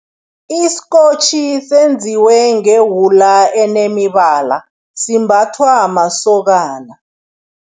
Isikotjhi senziwe ngewula enemibala. Simbathwa masokana.